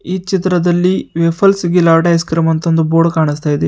ಈ ಚಿತ್ರದಲ್ಲಿ waffles gelato ice cream ಅಂತ ಒಂದು ಬೋರ್ಡ್ ಕಾಣಿಸ್ತಾ ಇದೆ.